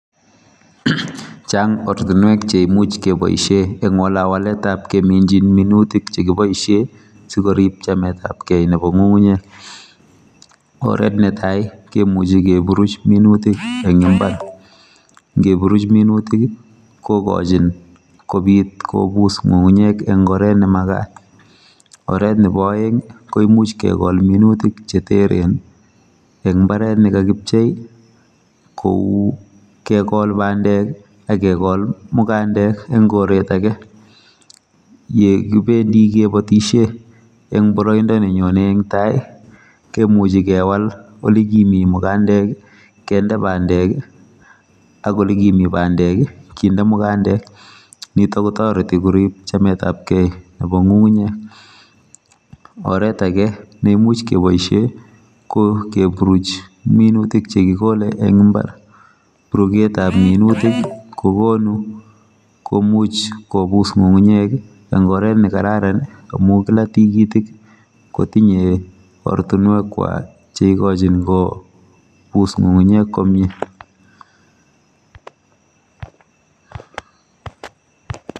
Chang ortinwek che imuch ke boishe eng wale waletab keminjin minutik che kibaishe sikorib chametabgei neba ng'ung'unyek, oret ne tai ke muchi keburuch minutik eng mbar, ngeburuch minutik, kokochin kobiit kombus ng'ung'unyek eng oet ne makat, oret nebo oeng ko imuch ke kol minutik che teren eng mbaret ne kakibchei kou kekol bandek akekol mukandek eng koret age, ye kibendi kebotishe eng boroindo ne nyone eng tai kemuji kewal ole kimi mukandek kende bandek ak ole kimi bandek kinde mukandek, nito kotoreti kurib chametabgei nebo ng'ung'unyek, oret age ne imuch keboishe ko keburuch minutik che kikole eng mbar, buruketab minutik ko konu komuch kombus ng'ung'unyek eng oret ne kararn amun kila tikitik ko tinye ortinwekwak che ikochin kombus ng'ung'unyek komye